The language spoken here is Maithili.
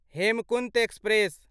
हेमकुन्त एक्सप्रेस